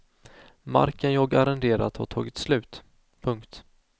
Marken jag arrenderat har tagit slut. punkt